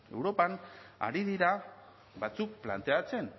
europan ari dira batzuk planteatzen